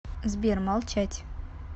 сбер молчать